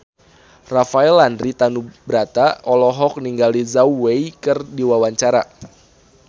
Rafael Landry Tanubrata olohok ningali Zhao Wei keur diwawancara